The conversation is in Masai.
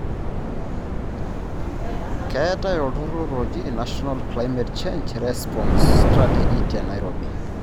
Keetae olturrurr oji National Climate Change Response Strategy Te Nairobi.